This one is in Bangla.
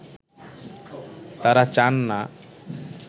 তারা চান না